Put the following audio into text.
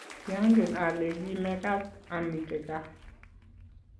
kiangen ale ki mekat amite gaa